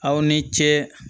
Aw ni ce